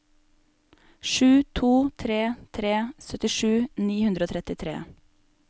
sju to tre tre syttisju ni hundre og trettitre